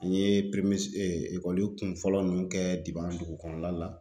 N ye ekɔli kunfɔlɔ ninnu kɛ dugu kɔnɔna la